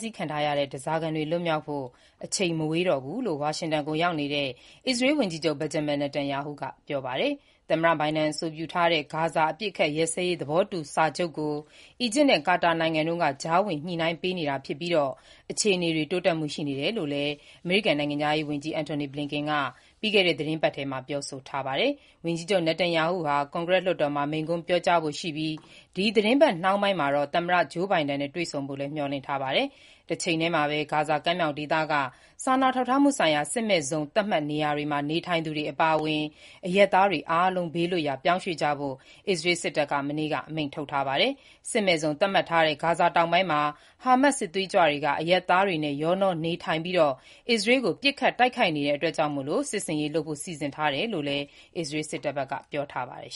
ဆီးခံထားရတဲ့ ဓားစာခံတွေလွတ်မြောက်ဖို့ အချိန်မဝေးတော့ဘူးလို့ အမေရိကန်နိုင်ငံ ဝါရှင်တန်မြို့တော်ကိုရောက်နေတဲ့ အစ္စရေးဝန်ကြီးချုပ် Benjamin Netanyahu ကပြောပါတယ်။ သမ္မတဘိုင်ဒန်အဆိုပြုထားတဲ့ ဂါဇာအပစ်အခတ်ရပ်စဲရေးသဘောတူစာချုပ်ကို အီဂျစ်နဲ့ ကာတာနိုင်ငံတို့က ကြားဝင်ညှိနှိုင်းပေးနေတာဖြစ်ပြီး အခြေအနေတွေတိုးတက်မှုရှိတယ်လို့လည်း အမေရိကန်နိုင်ငံခြားရေးဝန်ကြီး Antony Blinken က ပြီးခဲ့တဲ့ သီတင်းပတ်ထဲပြောဆိုထားတာပါ။ ဝန်ကြီးချုပ် Netanyahu ဟာ ကွန်ဂရက်လွှတ်တော်မှာ မိန့်ခွန်းပြောကြားဖို့ရှိပြီး ဒီသီတင်းပတ်နှောင်းပိုင်းမှာတော့ သမ္မတ Joe Biden နဲ့ တွေ့ဆုံဖို့မျှော်လင့်ထားပါတယ်။ တချိန်တည်းမှာပဲ ဂါဇာကမ်းမြှောင်ဒေသက စာနာထောက်ထားမှုဆိုင်ရာ စစ်မဲ့ဇုံသတ်မှတ်နေရာမှာ နေထိုင်သူတွေ အပါအဝင် အရပ်သားတွေ အားလုံးဘေးလွတ်ရာ ပြောင်းရွှေ့ကြဖို့ အစ္စရးစစ်တပ်က မနေ့က အမိန့်ထုတ်ထားပါတယ်။ စစ်မဲ့ဇုန်သတ်မှတ်ထားတဲ့ ဂါဇာဒေသတောင်ပိုင်းမှာ ဟားမတ်စ် စစ်သွေးကြွတွေက အရပ်သားတွေနဲ့ ရောနှောနေထိုင်ပြီး အစ္စရေးကို ပစ်ခတ်တိုက်ခိုက်နေတာကြောင့် စစ်ဆင်ရေးလုပ်ဖို့ စီစဉ်ထားတယ်လို့ အစ္စရေးစစ်တပ်က ပြောပါတယ်